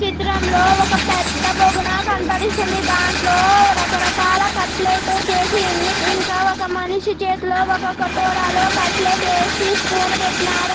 చిత్రంలో ఒక పెద్ద బోగన కనపడిస్తుంది. దాంట్లో రకరకాల కట్లెట్ చేసి ఉంది. ఇంకా ఒక మనిషి చేతలో ఒక కటొరాలో కట్లెట్ ఏసీ స్పూన్ పెట్టిన్నారు.